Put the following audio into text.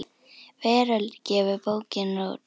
Veröld gefur bókina út.